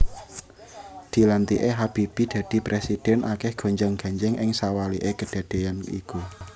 Dilantiké Habibie dadi prèsidhèn akèh gonjang ganjing ing sawaliké kedadéan iku